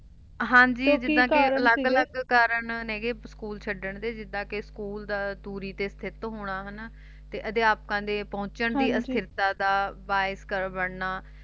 ਹਾਂਜੀ ਜਿੱਦਾਂ ਕਿ ਅਲੱਗ ਅਲੱਗ ਕਾਰਨ ਨੇ ਗੇ ਸਕੂਲ ਛੱਡਣ ਦੇ ਜਿਦਾਂ ਕਿ ਸਕੂਲ ਦੂਰੀ ਦੇ ਸਥਿਤ ਹੋਣਾ ਹੈ ਨਾ ਤੇ ਅਧਿਆਪਕ ਦੇ ਪਹੁੰਚਣ ਦੀ ਅਸਥਿਰਤਾ ਦਾ ਬਾਈਕਰ ਬਣਨਾ